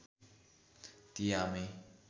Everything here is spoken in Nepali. ती आमै